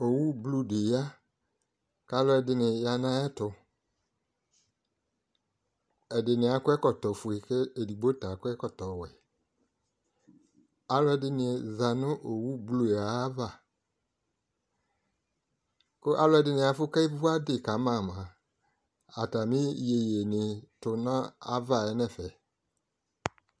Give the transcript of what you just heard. owu bloe di ya ku aluɛdi yanʊ ayɛ tu ɛdini akɔ ɛkɔtɔ foe kʊ ɛdɩ adu ɔwɛ ɔlu ɛdini za nʊ owu yɛ aʋa alɛdinɩ afu ke ʋuadi kama mua ku atami yoyuie du aʋa ye nu ɛfɛ